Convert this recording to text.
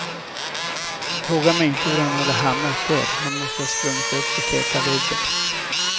Fråga mig inte hur han hade hamnat där, han måste ha sprungit uppför släta väggen.